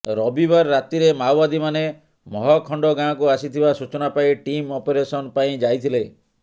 ରବିବାର ରାତିରେ ମାଓବାଦୀମାନେ ମହଖଣ୍ଡ ଗାଁକୁ ଆସିଥବା ସୂଚନା ପାଇ ଟିମ୍ ଅପରେସନ୍ ପାଇଁ ଯାଇଥିଲେ